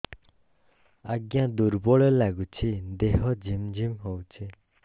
ଆଜ୍ଞା ଦୁର୍ବଳ ଲାଗୁଚି ଦେହ ଝିମଝିମ ହଉଛି